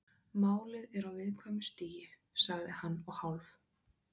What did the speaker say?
Málið er á viðkvæmu stigi- sagði hann og hálf